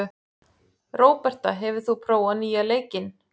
Róberta, hefur þú prófað nýja leikinn?